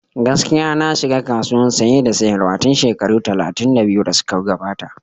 Gaskiya, na shiga kasuwan Saye da sayarwa tun shekaru talatin da biyu da suka gabata.